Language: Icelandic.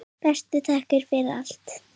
Bestu þakkir fyrir allt.